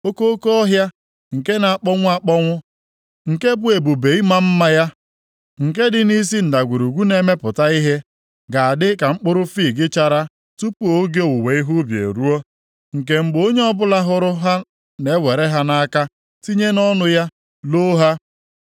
Okoko ọhịa nke na-akpọnwụ akpọnwụ, nke bụ ebube ịma mma ya, nke dị nʼisi ndagwurugwu na-emepụta ihe, ga-adị ka mkpụrụ fiig chara tupu oge owuwe ihe ubi eruo, nke mgbe onye ọbụla hụrụ ha na-ewere ha nʼaka, tinye nʼọnụ ya, loo ha.